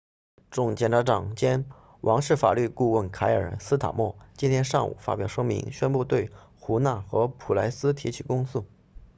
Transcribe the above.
总检察长兼王室法律顾问凯尔斯塔莫 kier starmer 今天上午发表声明宣布对胡纳和普莱斯提起公诉